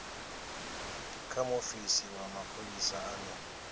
kha muofisi wa mapholisa ane